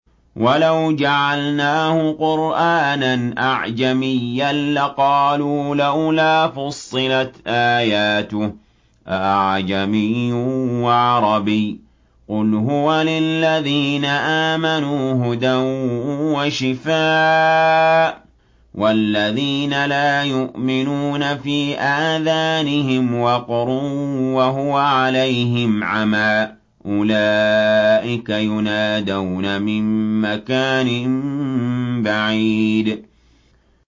وَلَوْ جَعَلْنَاهُ قُرْآنًا أَعْجَمِيًّا لَّقَالُوا لَوْلَا فُصِّلَتْ آيَاتُهُ ۖ أَأَعْجَمِيٌّ وَعَرَبِيٌّ ۗ قُلْ هُوَ لِلَّذِينَ آمَنُوا هُدًى وَشِفَاءٌ ۖ وَالَّذِينَ لَا يُؤْمِنُونَ فِي آذَانِهِمْ وَقْرٌ وَهُوَ عَلَيْهِمْ عَمًى ۚ أُولَٰئِكَ يُنَادَوْنَ مِن مَّكَانٍ بَعِيدٍ